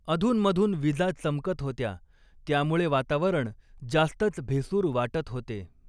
अधूनमधून विजा चमकत होत्या त्यामुळें वातावरण जास्तच भेसूर वाटत होते.